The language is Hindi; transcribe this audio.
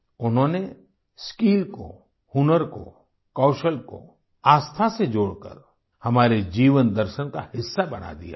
उन्होंने स्किल को हुनर को कौशल को आस्था से जोड़कर हमारे जीवन दर्शन का हिस्सा बना दिया है